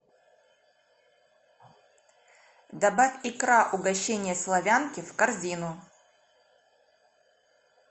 добавь икра угощение славянки в корзину